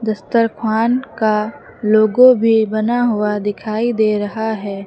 दस्तरख्वान का लोगो भी बना हुआ दिखाई दे रहा है।